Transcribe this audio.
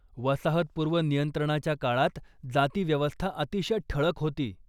वसाहतपूर्व नियंत्रणाच्या काळात जातिव्यवस्था अतिशय ठळक होती.